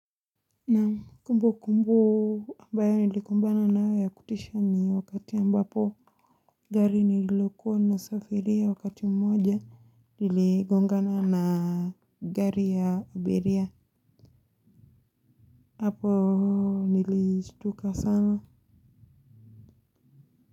Naam kumbu kumbu ambayo nilikumbana nayo ya kutisha ni wakati ambapo gari nililokuwa na safiria wakati mmoja liligongana na gari ya abiria hapo nilistuka sana.